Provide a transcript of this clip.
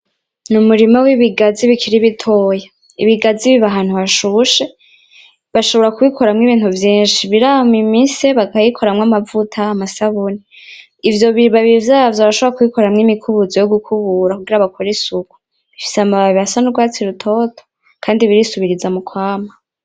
Ni umurima w'ibigazi bikiri bitoya, ibigazi biba ahantu hashushe bashobora kubikoramwo ibintu vyinshi birama imise bakayikoramwo amavuta, amasabuni, ivyo bibabi vyavyo barashobora kubikoramwo imikubuzo yogukubura kugira bakore isuku bifise amababi asa nurwatsi rutoto kandi birisubiriza mu kwama.